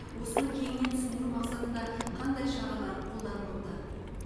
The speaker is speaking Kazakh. осыны кеңінен түсіндіру мақсатында қандай шаралар қолданылуда